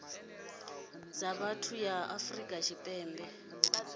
dza vhathu ya afrika tshipembe